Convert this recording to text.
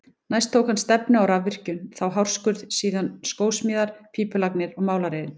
Næst tók hann stefnu á rafvirkjun, þá hárskurð, síðan skósmíðar, pípulagnir og málaraiðn.